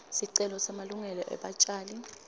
sicelo semalungelo ebatjali